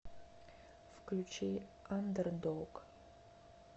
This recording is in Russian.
включи андердог